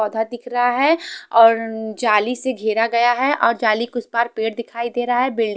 पौधा दिख रहा है और जाली से घेरा गया है और जाली के उस पार पेड़ दिखाई दे रहा है बिल्डि--